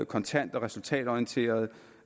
kontant og resultatorienteret